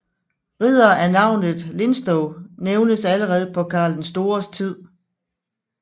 Riddere af navnet Linstow nævnes allerede på Karl den Stores tid